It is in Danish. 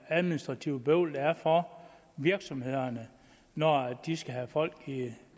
administrative bøvl der er for virksomhederne når de skal have folk i